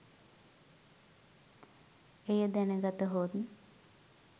එය දැනගතහොත්